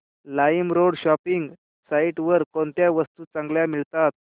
LimeRoad shopping site वर कोणत्या वस्तू चांगल्या मिळतात